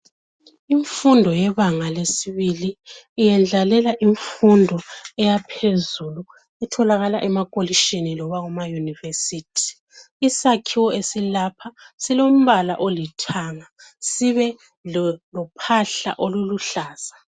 Imfundo yebanga lesibili iyendlalela imfundo eyaphezulu etholakala emakolitshini noma kuma yunivesithi, isakhiwo esilapha silombala olithanga sibe lo phahla oluluhlaza.